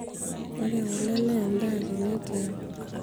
ore kule naa endaa tene tiang